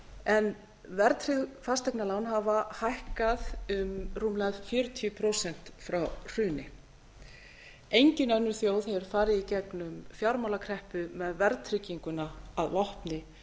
en verðtryggð fasteignalán hafa hækkað um rúmlega fjörutíu prósent frá hruni engin önnur þjóð hefur farið i gegnum fjármálakreppu með verðtrygginguna að vopni